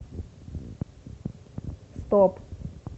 стоп